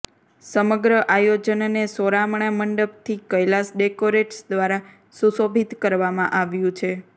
સમગ્ર આયોજનને સોરામણા મંડપથી કૈલાસ ડેકોરેટસ દ્વારા સુશોભિત કરવામાં આવ્યું છે